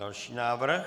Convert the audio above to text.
Další návrh.